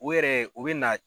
U yɛrɛ u bɛ na